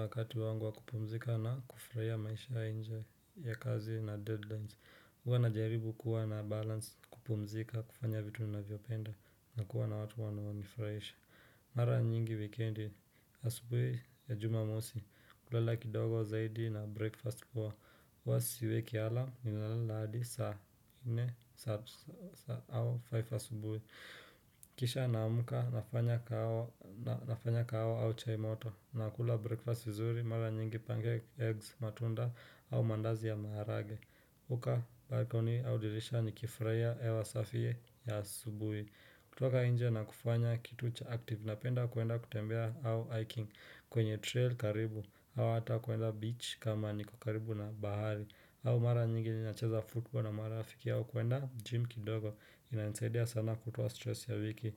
Wakati wangu wa kupumzika na kufurahia maisha ya nje ya kazi na deadlines Huwa najaribu kuwa na balance kupumzika kufanya vitu ninavyopenda na kuwa na watu wanao nifurahisha mara nyingi wikendi asubuhi ya jumamosi hulala kidogo zaidi na breakfast poa huwa siweki alam ninalal hadi saa nne saa au faifu asubuhi Kisha naamka nafanya kahawa au chai moto nakula breakfast vizuri mara nyingi pange eggs matunda au mandazi ya maharage hukaa balcony au dirisha nikifurahiya ewa safi ya asubuhi kutoka inje na kufanya kitu cha active napenda kuenda kutembea au hiking kwenye trail karibu au ata kuenda beach kama niko karibu na bahari au mara nyingi nina cheza football na mara afiki au kuenda gym kidogo inanisaidia sana kutoa stress ya wiki